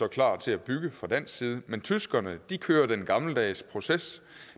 klar til at bygge fra dansk side mens tyskerne kører den gammeldags proces